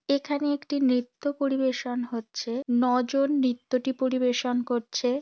এখানে একটি নৃত্য পরিবেশন হচ্ছে নজন নৃত্যটি পরিবেশন করছে।